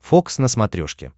фокс на смотрешке